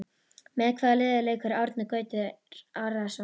Með hvaða liði leikur Árni Gautur Arason?